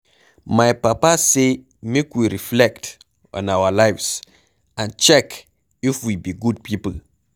My papa say make we reflect on our lives and check if we be good people.